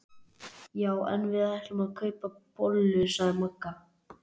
Já en við ætlum að kaupa bollur sagði Magga.